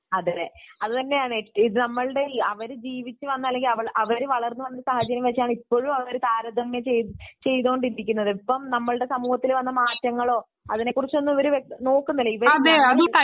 അതെ അത് തന്നെയാണ് അവര് ജീവിച്ചു വന്ന ;അല്ലെങ്കിൽ അവർ വളർന്നു വന്ന സാഹചര്യം വച്ചാണ്ഇ പ്പോഴും അവർ താരതമ്യം ചെയ്തുകൊണ്ടിരിക്കുന്നത്. ഇപ്പോൾ സമൂഹത്തിൽ വന്ന മാറ്റങ്ങളോ അവർ ഒന്നും നോക്കുന്നില്ല